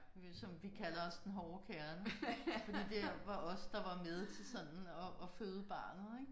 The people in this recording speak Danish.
Øh som vi kalder os den hårde kerne fordi det var os der var med til sådan at at føde barnet ik